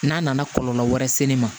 N'a nana kɔlɔlɔ wɛrɛ se ne ma